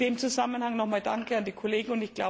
In diesem Zusammenhang noch einmal Danke an die Kollegen.